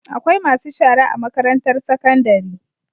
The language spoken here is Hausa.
Akwai masu shara a makarantar sakandari